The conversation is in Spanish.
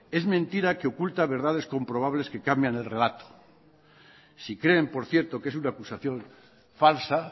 es mentira que oculta verdades comprobables que cambian en relato si creen por cierto que es una acusación falsa